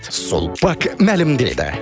сулпак мәлімдейді